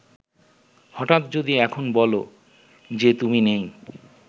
হঠাৎ যদি এখন বলো যে তুমি নেই